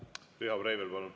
Riho Breivel, palun!